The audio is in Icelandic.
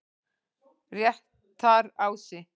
Réttarási